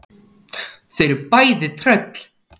Þau eru bæði tröll.